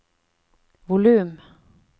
volum